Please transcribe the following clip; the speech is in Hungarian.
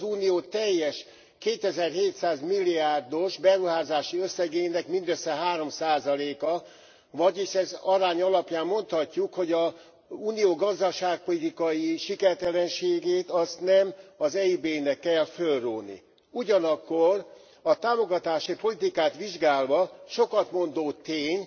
Ez az Unió teljes 2700 milliárdos beruházási összegének mindössze 3 a, vagyis ez arány alapján mondhatjuk, hogy az Unió gazdaságpolitikai sikertelenségét azt nem az EIB nek kell fölróni. Ugyanakkor a támogatási politikát vizsgálva sokat mondó tény,